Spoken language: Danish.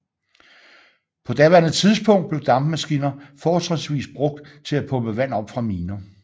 På daværende tidspunkt blev dampmaskiner fortrinsvis brugt til at pumpe vand op fra miner